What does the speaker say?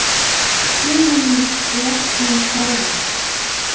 Tíminn læknar sárin.